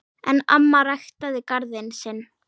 En amma ræktaði garðinn sinn.